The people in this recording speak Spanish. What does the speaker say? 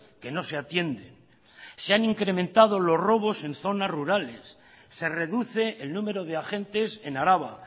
que no se atienden se han incrementado los robos en zonas rurales se reduce el número de agentes en araba